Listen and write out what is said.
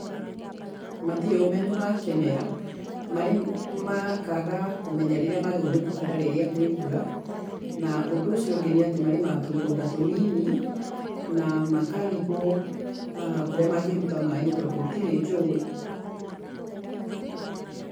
Matirĩ ũmenyo wa kĩmera, marĩ makaaga kũmenya rĩrĩa magĩrĩirwo nĩ kũhanda rĩrĩa kwĩ mbura, na ũndũ ũcio ũngĩ nĩ atĩ marĩmaga tũmĩgunda tũnini, na makarigwo kũrĩa mangĩruta maĩ nĩ tondũ gũtirĩ njũĩ.